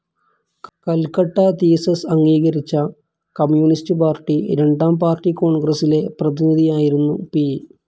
Calcutta thesis അംഗീകരിച്ച communist party രണ്ടാം party കോൺഗ്രസ്സിലെ പ്രതിനിധിയായിരുന്നു പി.